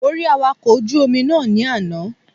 Mo rí Awakọ̀ ojú Omi náà ní àná